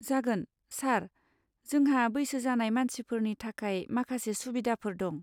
जागोन, सार। जोंहा बैसो जानाय मानसिफोरनि थाखाय माखासे सुबिदाफोर दं।